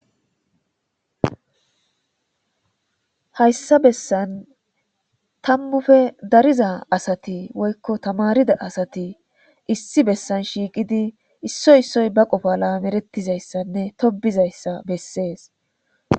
Hayisa besan tamupe dariza asati woyiko tamarida asati issi besan shiqidi issoy issoy ba qopa tobizaysanee zoretizaysa beses